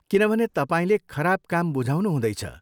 किनभने तपाईँले खराब काम बुझाउनु हुँदैछ।